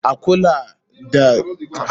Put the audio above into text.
A kula a kiyaye cin ƴaƴan marmarin lemun zaƙi da yawa.